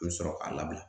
I bɛ sɔrɔ k'a labila